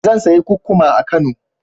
Zan sayi kukkuma a Kano.